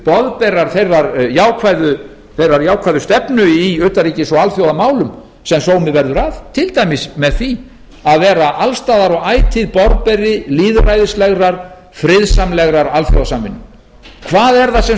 boðberar þeirrar jákvæðu stefnu í utanríkis og alþjóðamálum sem sómi verður að til dæmis með því að vera alls staðar og ætíð boðberi lýðræðislegrar friðsamlegrar alþjóðasamvinnu hvað er það sem